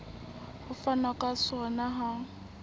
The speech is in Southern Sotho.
ho fanwa ka sona ha